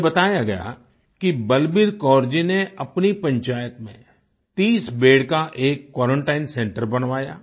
मुझे बताया गया कि बलबीर कौर जी ने अपनी पंचायत में 30 बेद का एक क्वारंटाइन सेंटर बनवाया